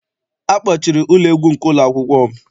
Akpọchiri ụlọ egwu nke ụlọakwụkwọ m.